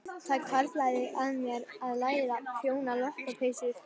Það hvarflaði að mér að læra að prjóna lopapeysur.